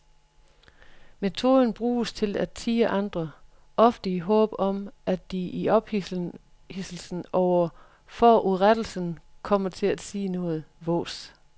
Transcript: Metoden bruges til at tirre andre, ofte i håbet om at de i ophidselsen over forurettelsen kommer til at sige noget vås.